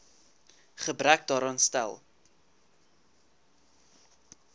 gebrek daaraan stel